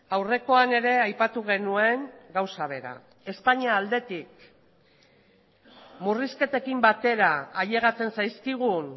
aurrekoan ere aipatu genuen gauza bera espainia aldetik murrizketekin batera ailegatzen zaizkigun